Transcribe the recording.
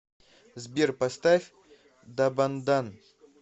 сбер поставь дабандан